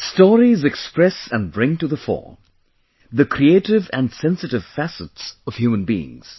Stories express and bring to the fore, the creative and sensitive facets of human beings